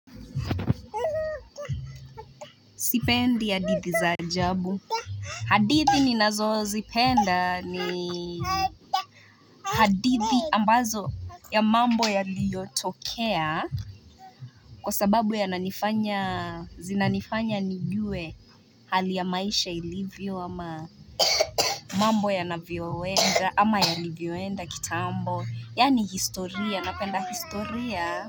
Sipendi hadithi za ajabu hadithi ninazo zipenda ni hadithi ambazo ya mambo yaliyotokea kwa sababu zinanifanya nijue hali ya maisha ilivyo ama mambo yanavyowenda ama yalivyoenda kitambo yani historia napenda historia.